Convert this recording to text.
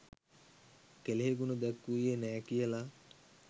කෙළෙහිගුණ දැක්වූවේ නෑ කියලා.